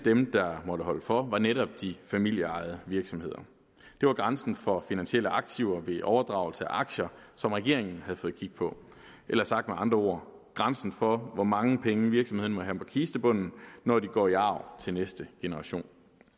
måtte holde for var netop de familieejede virksomheder det var grænsen for finansielle aktiver ved overdragelse af aktier som regeringen havde fået kig på eller sagt med andre ord grænsen for hvor mange penge virksomhederne må have på kistebunden når de går i arv til næste generation